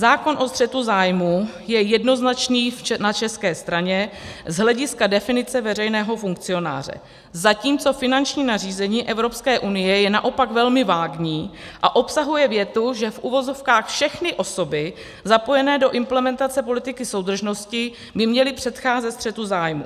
Zákon o střetu zájmů je jednoznačný na české straně z hlediska definice veřejného funkcionáře, zatímco finanční nařízení Evropské unie je naopak velmi vágní a obsahuje větu, že - v uvozovkách - všechny osoby zapojené do implementace politiky soudržnosti by měly předcházet střetu zájmů.